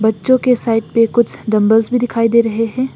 बच्चों के साइड पे कुछ डंबल्स भी दिखाई दे रहे हैं।